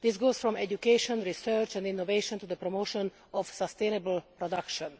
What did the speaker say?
This ranges from education, research and innovation to the promotion of sustainable production.